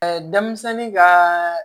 denmisɛnnin ka